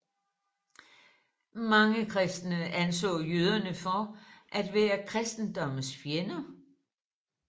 Mange kristne anså jøderne for at være kristendommens fjender